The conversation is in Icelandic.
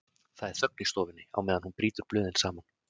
Það er þögn í stofunni á meðan hún brýtur blöðin saman.